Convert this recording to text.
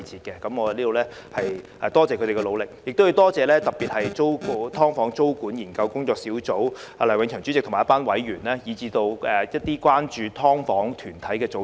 我在此感謝他們的努力，亦要特別感謝工作小組梁永祥主席及一眾成員，以及關注"劏房"的團體組織。